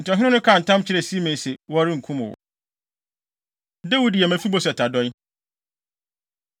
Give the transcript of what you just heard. Enti ɔhene no kaa ntam kyerɛɛ Simei se, “Wɔrenkum wo.” Dawid Yɛ Mefiboset Adɔe